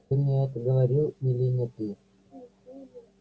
ты мне это говорил или не ты